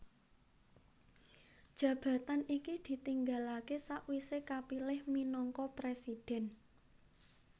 Jabatan iki ditinggalaké sawisé kapilih minangka presidhèn